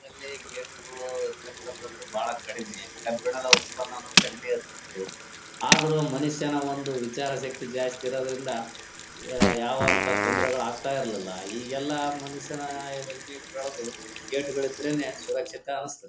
ಅದರಲ್ಲಿ ಗೆಟ್ ಗಳು ಇರ್ತಕಂತಹದ್ದು ಬಹಳ ಕಡಿಮೆ ಕಬ್ಬಿಣದ ಉತ್ಪನನ್ನು ಕಡಿಮೆ ಇರ್ತಿತ್ತು ಆದ್ರೂ ಮನುಷ್ಯನ ಒಂದು ವಿಚಾರ ಶಕ್ತಿ ಜಾಸ್ತಿ ಇರುದರಿಂದ ಯಾ ಯವಾಂತ ತೊಂದರೆಗಳು ಆಗ್ತಾಯಿರ್ಲಿಲ್ಲ ಈಗ ಎಲ್ಲ ಮನುಷ್ಯನ ಆ ವ್ಯಜ್ಞಾಕ್ ಬೆಳೆದು ಗೆಟ್ ಗಳು ಇದ್ರೇನೆ ಸುರಕ್ಷಿತ ಅನ್ಸ್ತಾದ್ದೆ .